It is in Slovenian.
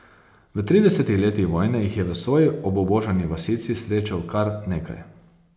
V tridesetih letih vojne jih je v svoji obubožani vasici srečal kar nekaj.